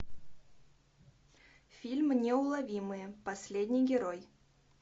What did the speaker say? фильм неуловимые последний герой